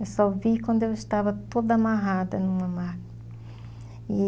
Eu só vi quando eu estava toda amarrada numa marca. E...